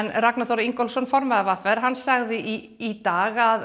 Ragnar Þór Ingólfsson formaður v r sagði í dag að